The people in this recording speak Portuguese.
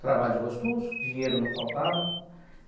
Trabalho gostoso, dinheiro não faltava.